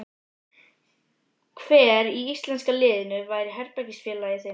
Hver í íslenska liðinu væri herbergisfélagi þinn?